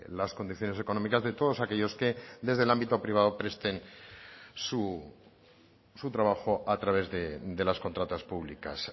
las condiciones económicas de todos aquellos que desde el ámbito privado presten su trabajo a través de las contratas públicas